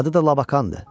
Adı da Labakandır.